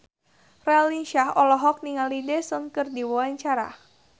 Raline Shah olohok ningali Daesung keur diwawancara